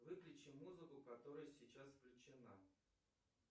выключи музыку которая сейчас включена